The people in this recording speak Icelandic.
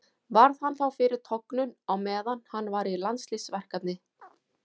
Varð hann þá fyrir tognun á meðan hann var í landsliðsverkefni.